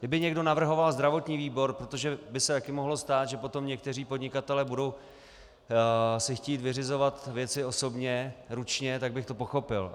Kdyby někdo navrhoval zdravotní výbor, protože by se také mohlo stát, že potom někteří podnikatelé si budou chtít vyřizovat věci osobně, ručně, tak bych to pochopil.